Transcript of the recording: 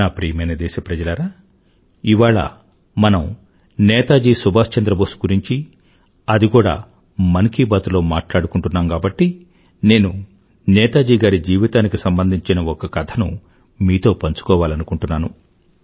నా ప్రియమైన దేశప్రజలారా ఇవాళ మనం నేతాజీ సుభాష్ చంద్ర బోస్ గురించి అది కూడా మన్ కీ బాత్ లో మాట్లాడుకుంటున్నాం కాబట్టి నేను నేతాజీ గారి జీవితానికి సంబంధించిన ఒక కథను మీతో పంచుకోవాలనుకుంటున్నాను